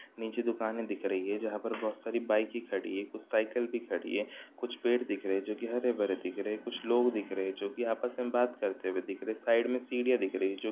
नीचे दुकानें दिख दिख रही है जहाँ पर बहुत सारी बाइके की खड़ी है| कुछ साइकिल भी खड़ी है| कुछ पेड़ दिख रहे है जो कि हरे भरे दिख रहे| कुछ लोग दिख रहे है जो की आपस में बात करते हुए दिख रहे| साइड में सीढ़ियाँ दिख रही है।